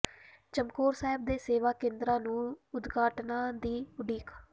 ਚਮਕੌਰ ਸਾਹਿਬ ਦੇ ਸੇਵਾ ਕੇਂਦਰਾਂ ਨੂੰ ਉਦਘਾਟਨਾਂ ਦੀ ਉਡੀਕ